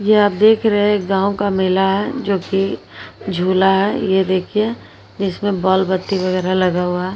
यह आप देख रहे हैं गांव का मेला है जोकि झूला है ये देखिए जिसमें बाल-बत्ती वगैरा लगा हुआ है।